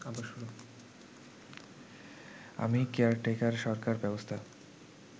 আমি কেয়ারটেকার সরকার ব্যবস্থা